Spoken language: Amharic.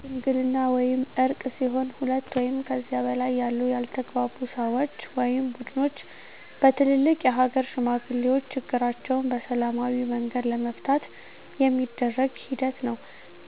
ሽምግልና ወይም እርቅ ሲሆን ሁለት ወይም ከዚያ በላይ ያሉ ያልተግባቡ ሰወች ወይም ቡድኖች በትልልቅ የሀገር ሽማግሌዎች ችግራቸዉን በሰላማዊ መንገድ ለመፍታት የሚደረግ ሂደት ነዉ።